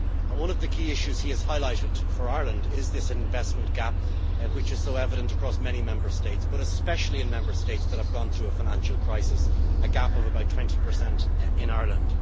One of the key issues he has highlighted for Ireland is this investment gap, which is so evident across many Member States but especially in Member States that have gone through a financial crisis a gap of about 20 in Ireland.